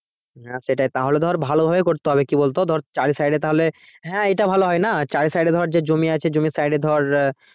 হ্যাঁ সেটাই তাহলে ধর ভালোভাবেই করতে হবে কি বলতো ধর চারি সাইডে তাহলে হ্যাঁ এটা ভালো হয় না চারি সাইডে ধর যে জমি আছে জমির সাইডে ধর